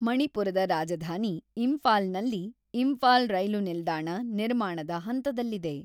ಮಣಿಪುರದ ರಾಜಧಾನಿ ಇಂಫಾಲ್ನಲ್ಲಿ ಇಂಫಾಲ್ ರೈಲು ನಿಲ್ದಾಣ, ನಿರ್ಮಾಣದ ಹಂತದಲ್ಲಿದೆ.